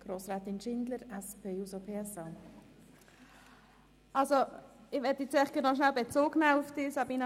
Ich möchte auf das Votum von Grossrätin Geissbühler-Strupler Bezug nehmen.